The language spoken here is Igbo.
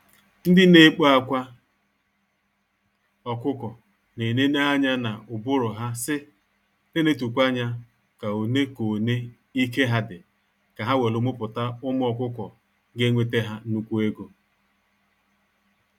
Ndị na ekpo akwa ọkụkọ na eneneanya na ụbụrụ ha sị, n'enetukwa anya ka one ka one ike ha dị ka ha welu muputa ụmụ ọkụkọ ga-enwete ha nnukwu ego.